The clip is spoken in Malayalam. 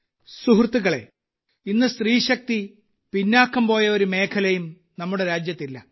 സുഹൃത്തുക്കളേ ഇന്ന് സ്ത്രീശക്തി പിന്നോക്കം പോയ ഒരു മേഖലയും നമ്മുടെ രാജ്യത്തില്ല